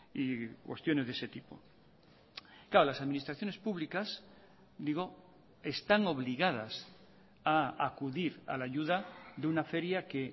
y cuestiones de ese tipo claro las administraciones públicas digo están obligadas a acudir a la ayuda de una feria que